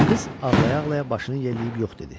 Qız ağlaya-ağlaya başını yelləyib yox dedi.